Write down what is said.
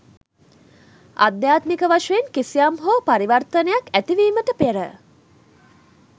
අධ්‍යාත්මික වශයෙන් කිසියම් හෝ පරිවර්තනයක් ඇතිවීමට පෙර